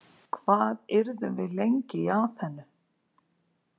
Hvað yrðum við lengi í Aþenu?